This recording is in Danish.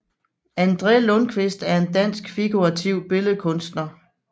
André Lundquist er en dansk figurativ billedkunstner